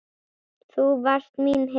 Þú varst mín hetja.